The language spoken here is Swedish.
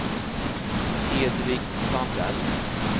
Hedvig Sandell